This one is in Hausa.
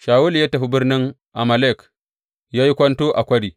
Shawulu ya tafi birnin Amalek ya yi kwanto a kwari.